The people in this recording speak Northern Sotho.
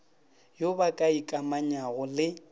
yo ba ka ikamanyago le